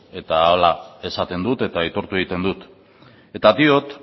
eta hala esaten dut eta aitortu egiten dut eta diot